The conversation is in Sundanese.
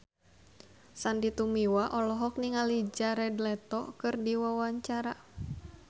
Sandy Tumiwa olohok ningali Jared Leto keur diwawancara